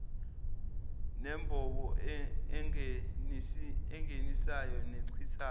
nembobo engenisayo nechithayo